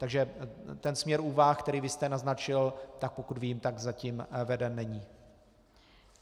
Takže ten směr úvah, který vy jste naznačil, tak pokud vím, tak zatím veden není.